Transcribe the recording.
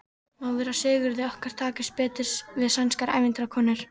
Má vera að Sigurði okkar takist betur við sænskar ævintýrakonur.